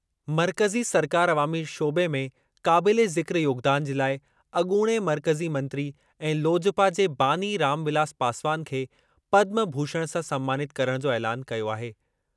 मर्कज़ी सरकार अवामी शोबे में क़ाबिले ज़िक्र योगदान जे लाइ अॻूणे मर्कज़ी मंत्री ऐं लोजपा जे बानी रामविलास पासवान खे पद्म भूषण सां सन्मानित करणु जो ऐलानु कयो आहे।